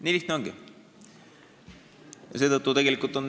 Nii lihtne see ongi!